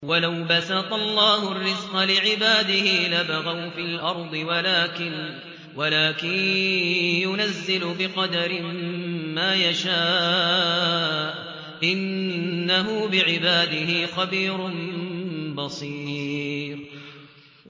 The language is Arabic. ۞ وَلَوْ بَسَطَ اللَّهُ الرِّزْقَ لِعِبَادِهِ لَبَغَوْا فِي الْأَرْضِ وَلَٰكِن يُنَزِّلُ بِقَدَرٍ مَّا يَشَاءُ ۚ إِنَّهُ بِعِبَادِهِ خَبِيرٌ بَصِيرٌ